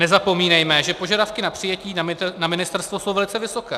Nezapomínejme, že požadavky na přijetí na ministerstvo jsou velice vysoké.